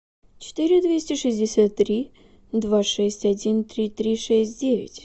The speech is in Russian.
четыре двести шестьдесят три два шесть один три три шесть девять